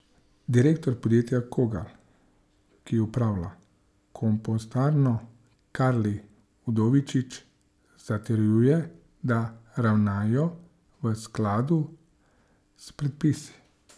Direktor podjetja Kogal, ki upravlja kompostarno, Karli Udovičič, zatrjuje, da ravnajo v skladu s predpisi.